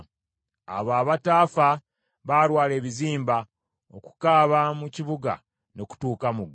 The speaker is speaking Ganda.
Abo abataafa baalwala ebizimba, okukaaba mu kibuga ne kutuuka mu ggulu.